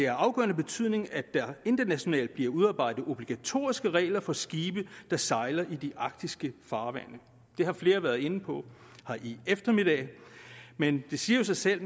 afgørende betydning at der internationalt bliver udarbejdet obligatoriske regler for skibe der sejler i de arktiske farvande det har flere været inde på her i eftermiddag men det siger jo sig selv